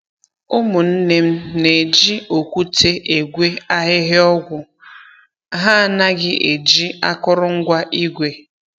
Ụmụnne m na-eji okwute egwe ahịhịa ọgwụ, ha anaghị eji akụrụngwa igwe